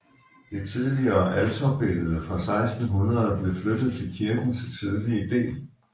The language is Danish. Det tidligere alterbillede fra 1600 blev flyttet til kirkens sydlige del